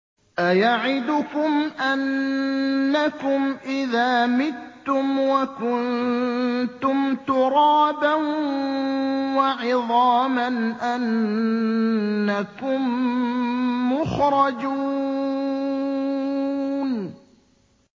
أَيَعِدُكُمْ أَنَّكُمْ إِذَا مِتُّمْ وَكُنتُمْ تُرَابًا وَعِظَامًا أَنَّكُم مُّخْرَجُونَ